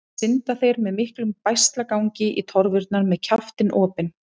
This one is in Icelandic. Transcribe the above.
Þá synda þeir með miklum bægslagangi í torfurnar með kjaftinn opinn.